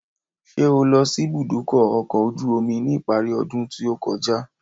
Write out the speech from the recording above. Ṣé o lọ sí ìbúdókọ̀ ọ̀kọ̀ ojú omi ní ìparí ọdún tí ó kọjá?